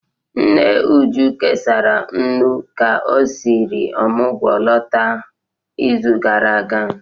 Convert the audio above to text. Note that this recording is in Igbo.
Nne Uju kesara nnu ka o siri omugwu lọta n'izu gara aga